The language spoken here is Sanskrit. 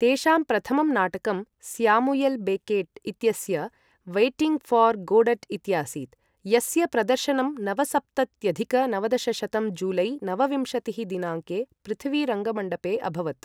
तेषां प्रथमं नाटकं स्यामुयल् बेकेट् इत्यस्य वेय्टिंग् ऴार् गोडट् इत्यासीत्, यस्य प्रदर्शनं नवसप्तत्यधिक नवदशशतं जुलै नवविंशतिः दिनाङ्के पृथ्वी रङ्गमण्डपे अभवत्।